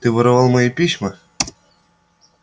ты воровал мои письма